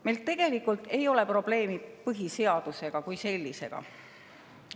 Meil tegelikult ei ole probleemi põhiseaduse kui sellisega.